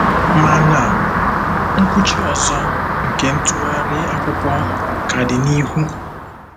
Mana nkwụchi ọzọ nke ntụgharị akwụkwọ ka dị n'ihu.